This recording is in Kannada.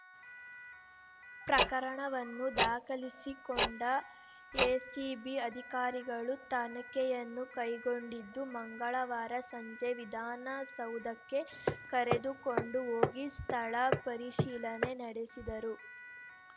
ಪ್ರಕರಣವನ್ನು ದಾಖಲಿಸಿಕೊಂಡ ಎಸಿಬಿ ಅಧಿಕಾರಿಗಳು ತನಿಖೆಯನ್ನು ಕೈಗೊಂಡಿದ್ದು ಮಂಗಳವಾರ ಸಂಜೆ ವಿಧಾನಸೌಧಕ್ಕೆ ಕರೆದುಕೊಂಡು ಹೋಗಿ ಸ್ಥಳ ಪರಿಶೀಲನೆ ನಡೆಸಿದರು